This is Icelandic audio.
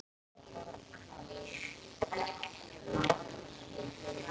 Einkum eru nefnd tvö atriði.